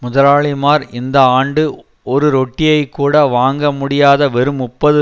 முதலாளிமார் இந்த ஆண்டு ஒரு ரொட்டியை கூட வாங்க முடியாத வெறும் முப்பது